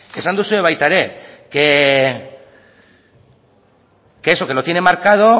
esan duzue baita ere que eso que lo tienen marcado